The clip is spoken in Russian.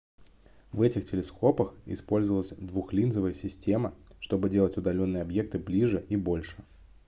в этих телескопах использовалась двухлинзовая система чтобы делать удалённые объекты ближе и больше